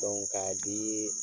k'a dii